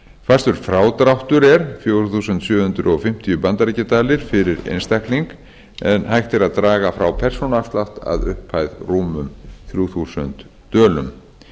fastur frádráttur er fjögur þúsund sjö hundruð fimmtíu bandaríkjadalir fyrir einstakling en hægt er að draga frá persónuafslátt að upphæð rúmum þrjú þúsund dölum